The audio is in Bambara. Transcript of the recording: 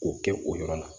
K'o kɛ o yɔrɔ la